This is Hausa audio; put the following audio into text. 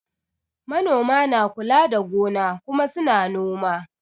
Manoma na kula da gona kuma su na noma